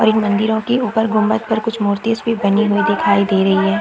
और एक मंदिरों की ऊपर गुंबद पर कुछ मूर्तिस बनी हुई दिखाई दे रही है।